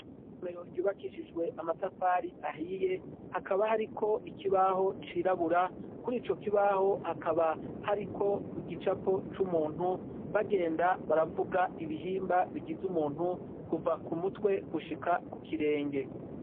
Isomero ryubakishijwe amatafari ahiye hakaba hari ko ikibaho cirabura kuri ico kibaho hakaba hari ko igicapo c'umuntu bagenda baravuga ibihimba bigize umuntu kuva ku mutwe gushika ku kirenge.